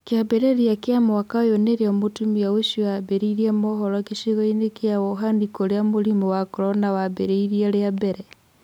kĩambĩrĩria kĩa mwaka ũyũ nĩrio mũtumia ũcio ambĩrĩirie mohoro gĩcigo-inĩ kĩa Wohani kũria mũrimũ wa Korona wambirie rĩambere.